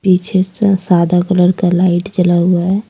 पीछे स सादा कलर का लाइट जला हुआ है।